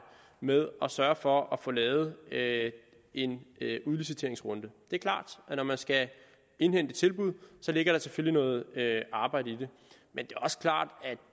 med at sørge for at få lavet lavet en udliciteringsrunde det er klart når man skal indhente tilbud ligger der selvfølgelig noget arbejde i det men